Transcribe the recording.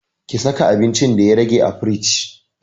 Ki saka abincin da ya rage a firingi